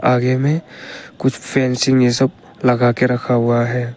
आगे में कुछ फेंसिंग ये सब लगा के रखा हुआ है।